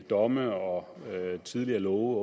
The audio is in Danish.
domme og af tidligere love